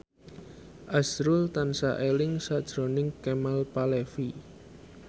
azrul tansah eling sakjroning Kemal Palevi